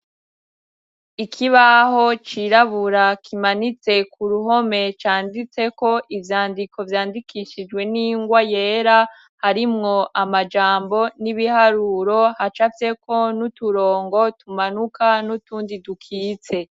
Ikibaho cirabura kimanitse ku ruhome canditseko ivyandiko vyandikishijwe n'ingwa yera harimwo amajambo n'ibiharuro hacafyeko n'uturongo tumanuka n'utundi dukitse.